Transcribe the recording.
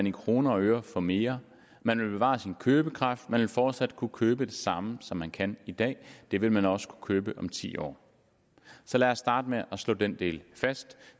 i kroner og øre få mere man vil bevare sin købekraft man vil fortsat kunne købe det samme som man kan i dag det vil man også kunne købe om ti år så lad os starte med at slå den del fast